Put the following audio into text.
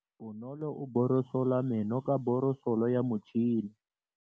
Bonolô o borosola meno ka borosolo ya motšhine.